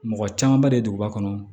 Mɔgɔ camanba de duguba kɔnɔ